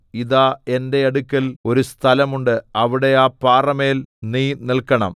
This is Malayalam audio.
ഇതാ എന്റെ അടുക്കൽ ഒരു സ്ഥലം ഉണ്ട് അവിടെ ആ പാറമേൽ നീ നിൽക്കണം